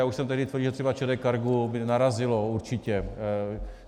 Já už jsem tehdy tvrdil, že třeba ČD Cargo by narazilo určitě.